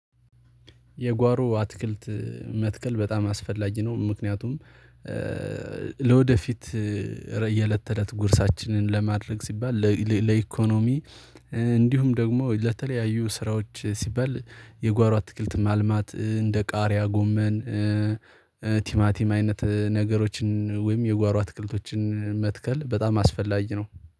የጓሮ አትክልት መትከል በጣም አስፈላጊ ነው ምክንያቱም ለወደፊት የእለት ተእለት ጉርሳችንን ለማድረግ ሲባል ለኢኮኖሚ እንዲሁም ደግሞ ለተለያዩ ስራዎች ሲባል የጓሮ አትክልት ማልማት እንደ ቃሪያ ጎመን ቲማቲም አይነት ነገሮችን ወይም የጓሮ አትክልቶችን መትከል በጣም አስፈላጊ ነው